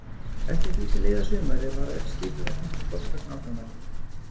Eftir því sem leið á sumarið varð öll skipulagning flóttans nákvæmari.